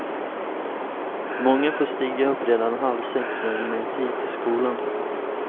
Många får stiga upp redan halv sex för att hinna i tid till skolan.